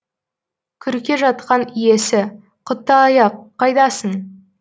күрке жақтан иесі құттыаяқ қайдасың